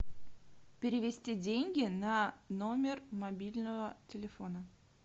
перевести деньги на номер мобильного телефона